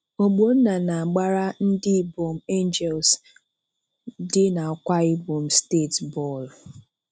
Ogbonna na-agbara ndị Ibom Angels dị n'Akwa Ibom steeti bọọlụ.